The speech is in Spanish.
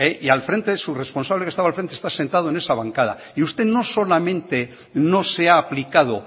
y al frente su responsable su responsable que estaba al frente está sentado en esa bancada y usted no solamente no se ha aplicado